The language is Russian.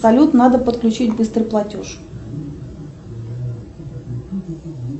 салют надо подключить быстрый платеж